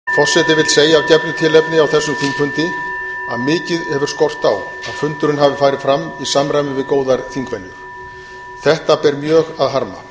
fundi er fram haldið forseti vill segja af gefnu tilefni á þessum þingfundi að mikið hefur skort á að fundurinn hafi farið fram í samræmi við góðar þingvenjur þetta ber mjög að harma